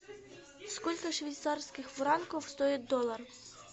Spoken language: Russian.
сколько швейцарских франков стоит доллар